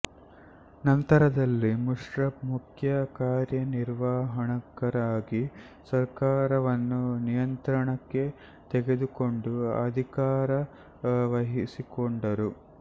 ನಂತರದಲ್ಲಿ ಮುಶ್ರಫ್ ಮುಖ್ಯ ಕಾರ್ಯನಿರ್ವಾಹಕರಾಗಿ ಸರ್ಕಾರವನ್ನು ನಿಯಂತ್ರಣಕ್ಕೆ ತೆಗೆದುಕೊಂಡು ಅಧಿಕಾರ ವಹಿಸಿಕೊಂಡರು